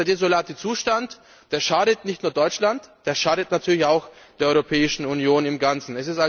Ich denke, dieser desolate Zustand schadet nicht nur Deutschland, der schadet natürlich auch der Europäischen Union im Ganzen.